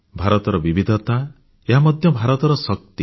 ଭାରତର ବିବିଧତା ଏହା ମଧ୍ୟ ଭାରତର ଶକ୍ତି